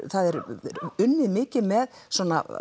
það er unnið mikið með svona